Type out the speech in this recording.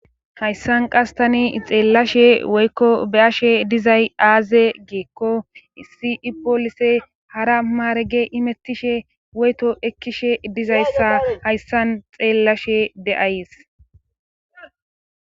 Hayssan qas tani xeellashe woykko be ashe dizay aaze geekko sii poolise hara maarege imettishe woyto ekkishe dizayssa hayssan xeellashe de'ays.